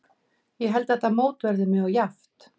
Ég held að þetta mót verði mjög jafnt.